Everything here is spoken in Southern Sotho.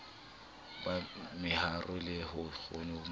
ba meharo le ho ikgohomosa